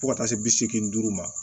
Fo ka taa se bi seegin duuru ma